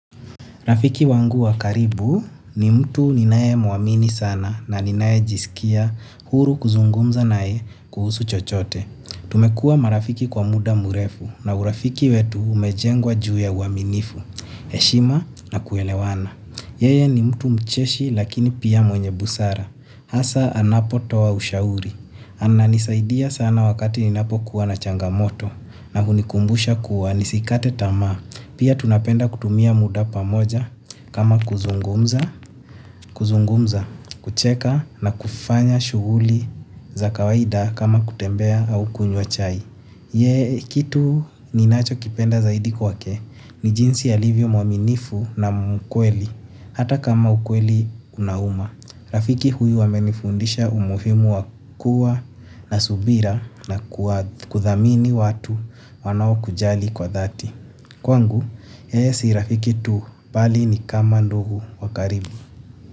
Rafiki wangu wa karibu ni mtu ninaye muamini sana na ninaye jisikia huru kuzungumza nae kuhusu chochote. Tumekua marafiki kwa muda murefu na urafiki wetu umejengwa juu ya uaminifu, heshima na kuelewana. Yeye ni mtu mcheshi lakini pia mwenye busara. Hasa anapo toa ushauri. Ananisaidia sana wakati ninapokuwa na changamoto na hunikumbusha kuwa nisikate tamaa. Pia tunapenda kutumia muda pamoja kama kuzungumza kuzungumza, kucheka na kufanya shuguli za kawaida kama kutembea au kunywa chai. Ye kitu ninachokipenda zaidi kwake ni jinsi alivyo mwaminifu na mkweli hata kama mkweli unahuma. Rafiki huyu amenifundisha umuhimu wa kuwa na subira na kuath kuthamini watu wanao kujali kwa dhati. Kwangu yeye si rafiki tu bali ni kama ndugu wa karibu.